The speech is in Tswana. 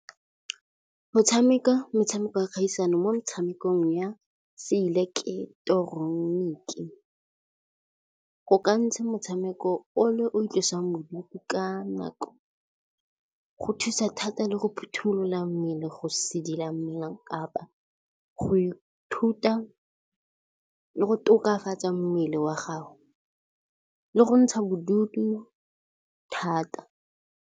metshameko ya kgaisano mo metshamekong ya se ileketeroniki go ka ntshe motshameko o le o itlosa bodutu. Ka nako go thusa thata le go phothulola mmele, go sedila mmele kapa go ithuta le go tokafatsa mmele wa gago le go ntsha bodutu thata.